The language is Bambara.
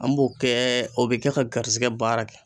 An b'o kɛ o bɛ kɛ ka garisigɛ baara kɛ.